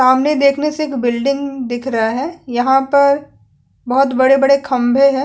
सामने देखने से एक बिल्डिंग दिख रहा है यहाँ पर बहुत बड़े -बड़े खंभे है।